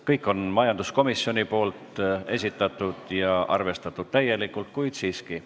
Kõik on majanduskomisjoni esitatud ja arvestatud täielikult, kuid siiski.